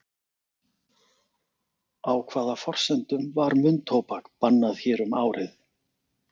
Á hvaða forsendum var munntóbak bannað hér um árið?